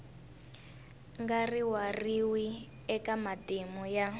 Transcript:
nga rivariwi eka matimu ya